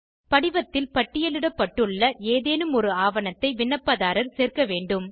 படிவத்தில் பட்டியலிடப்பட்டுள்ள ஏதேனும் ஒரு ஆவணத்தை விண்ணப்பதாரர் சேர்க்க வேண்டும்